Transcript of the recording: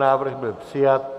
Návrh byl přijat.